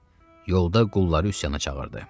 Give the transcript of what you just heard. Yolda qulları üsyana çağırdı.